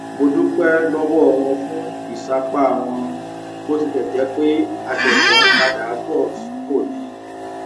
mo dúpé lówó wọn fún ìsapá wọn bó tilè jé pé a ṣẹṣẹ ń padà bọ sípò ni